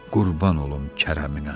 Qurban olum kərəminə.